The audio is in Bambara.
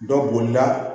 Dɔ bolila